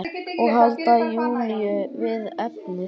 Og halda Júlíu við efnið.